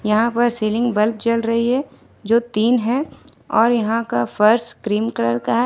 यहां पर ceiling bulb जल रही है जो तीन है और यहां का फर्स क्रीम कलर का है।